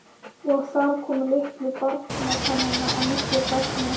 Og þar komu litlu barnatennurnar að miklu gagni.